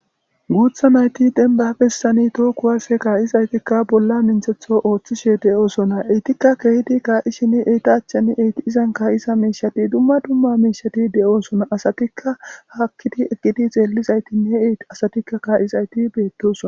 Guutha mayti denba bessani too kuwasse kaa'izaytikka bolla minthetho ooththishe de7oosona eytikka keehidi kaa7i shin eytachchen eyti izan kaa'isa miishati dumma dumma miishati de7oosona asatikka haakkidi eqqidi xeellizaytinne asatikka kaa'izayti beettosona.